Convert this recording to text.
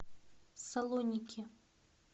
салоники